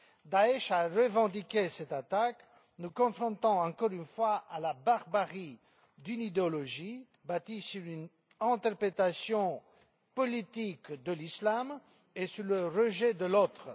Daech a revendiqué cette attaque, nous confrontant encore une fois à la barbarie d'une idéologie bâtie sur une interprétation politique de l'Islam et sur le rejet de l'autre.